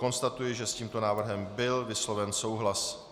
Konstatuji, že s tímto návrhem byl vysloven souhlas.